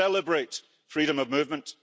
We celebrate freedom of movement.